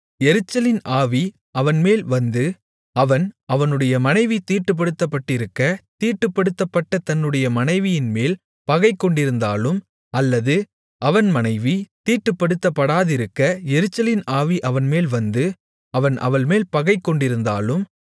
எரிச்சலின் ஆவி அவன்மேல் வந்து அவன் அவனுடைய மனைவி தீட்டுப்படுத்தப்பட்டிருக்க தீட்டுப்படுத்தப்பட்ட தன்னுடைய மனைவியின்மேல் பகைகொண்டிருந்தாலும் அல்லது அவன் மனைவி தீட்டுப்படுத்தப்படாதிருக்க எரிச்சலின் ஆவி அவன்மேல் வந்து அவன் அவள்மேல் பகைகொண்டிருந்தாலும்